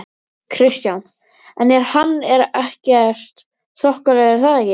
Kristján: En hann er þokkalegur er það ekki?